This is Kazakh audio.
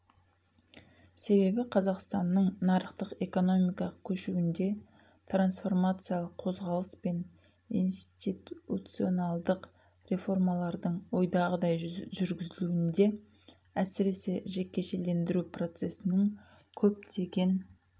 себебі қазақстанның нарықтық экономикаға көшуінде трансформациялық қозғалыс пен институционалдық реформалардың ойдағыдай жүргізіліуінде әсіресе жекешелендіру процесінің көптеген